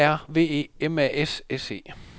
A R V E M A S S E